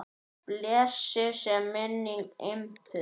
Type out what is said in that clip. Blessuð sé minning Imbu.